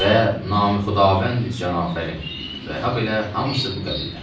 Və nami Xudavəndi cənfərin və habelə hamısı bu qəbildən.